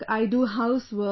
I do housework